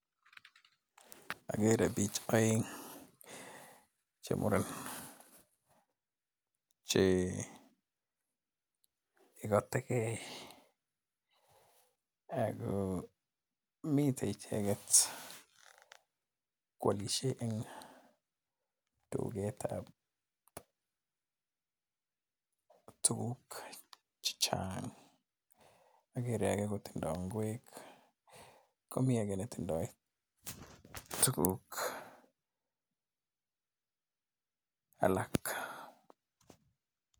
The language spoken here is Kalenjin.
Agere bich aeng che muren, che igategei ako mitei icheget kwalishe eng duketab tuguk chechang. Agere age kotindoo ngwek komii age netindoi tuguk alak.